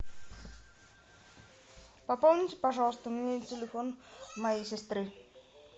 пополните пожалуйста мне телефон моей сестры